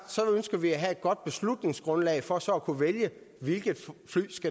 så ønsker vi at have et godt beslutningsgrundlag for så at kunne vælge hvilke fly